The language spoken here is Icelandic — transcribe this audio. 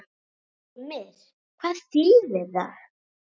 Heimir: Hvað þýðir það?